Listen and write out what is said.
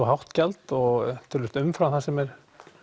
hátt gjald og umfram það sem er